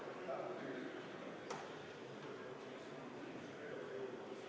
Palun Vabariigi Valimiskomisjonil lugeda hääled üle ka avalikult!